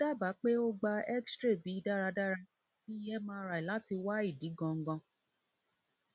mo daba pe o gba xray bi daradara bi mri lati wa idi gangan